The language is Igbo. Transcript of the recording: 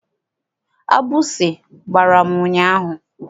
Agbụsị gbara m ụnyaahụ.